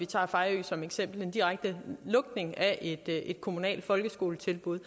tage fejø som eksempel en direkte lukning af et kommunalt folkeskoletilbud